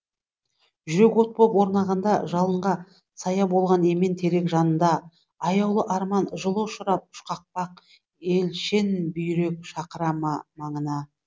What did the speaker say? жүрек от боп оранғанда жалынға сая болған емен терек жанында аяулы арман жылу ұшырап үшқақпақ елшенбүйрек шақыра ма маңына